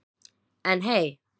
En hey.